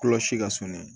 Kolo si ka surun